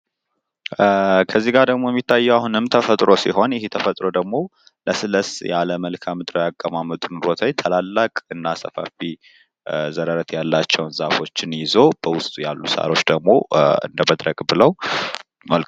ከዚህ ጋር ደግሞ የሚገኘዉ አሁንም ተፈጥሮ ሲሆን ይህ ተፈጥሮ ደግሞ ለስለስ ያለ መልካምድራዊ አቀማመጥ ቦታ ታላላቅ እና ሰፋፊ ዘረረት ያላቸዉ ዛፎችን በዉስጡ ያሉ ሳሮች ደግሞ እንደመድረቅ ብለዉ ይታያል።